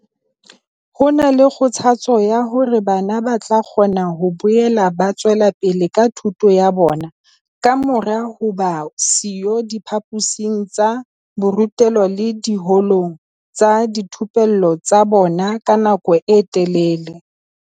Ho na le kgothatso ya hore bana ba tla kgona ho boela ba tswela pele ka thuto ya bona kamora ho ba siyo diphaposing tsa borutelo le diholong tsa dithupello tsa bona ka nako e telele.